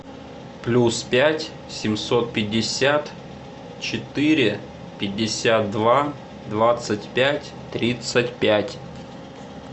плюс пять семьсот пятьдесят четыре пятьдесят два двадцать пять тридцать пять